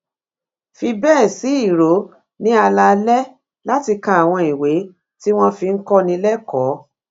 fi béè sí ìró ní alaalé láti ka àwọn ìwé tí wón fi ń kóni lékòó